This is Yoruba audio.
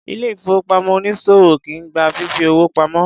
Ilé ìfowópamọ́ onísòwò kìí gba fífi owó pamo.